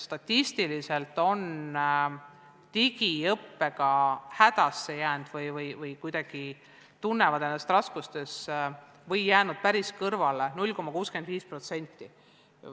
Statistiliselt on digiõppega hädasse jäänud või tunnevad end kuidagi raskustes olevana või õppetööst päris kõrvale jäänuna 0,65% õpilastest.